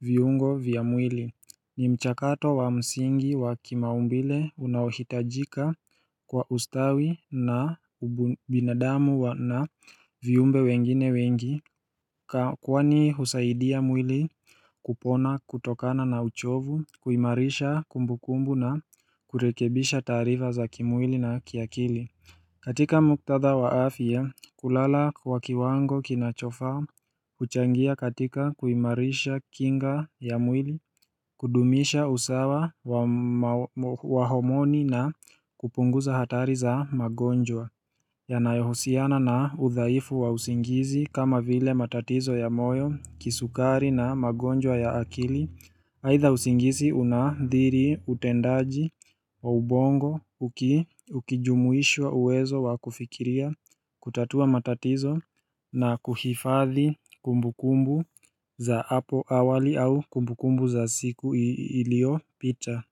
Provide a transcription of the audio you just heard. viungo vya mwili ni mchakato wa msingi wa kimaumbile unahitajika kwa ustawi na binadamu wa na viumbe wengine wengi Kwani husaidia mwili kupona kutokana na uchovu, kuimarisha kumbukumbu na kurekebisha taarifa za kimwili na kiakili katika muktatha waafia, kulala wakiwango kinachofa, kuchangia katika kuimarisha kinga ya mwili kudumisha usawa wa homoni na kupunguza hatari za magonjwa Yanayohosiana na udhaifu wa usingizi kama vile matatizo ya moyo, kisukari na magonjwa ya akili aidha usingizi unaadhiri utendaji wa ubongo ukijumuishwa uwezo wa kufikiria, kutatua matatizo na kuhifadhi kumbukumbu za hapo awali au kumbukumbu za siku iliyopita.